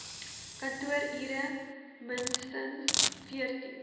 kantoorure minstens veertien